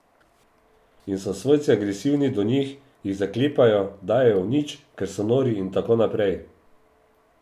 In so svojci agresivni do njih, jih zaklepajo, dajejo v nič, ker so nori in tako naprej.